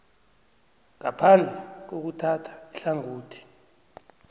ngaphandle kokuthatha ihlangothi